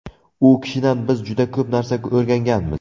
U kishidan biz juda ko‘p narsa o‘rganganmiz.